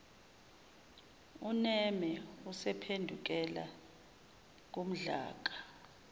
uneme usephendukela kumdlaka